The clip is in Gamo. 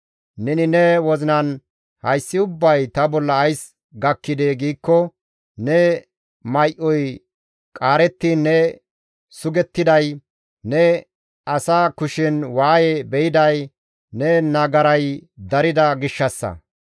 Neni ne wozinan, ‹Hayssi ubbay ta bolla ays gakkidee?› giikko, ne may7oy qaarettiin ne sugettiday, ne asa kushen waaye be7iday ne nagaray darida gishshassa.